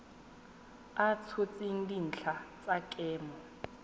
a tshotseng dintlha tsa kemo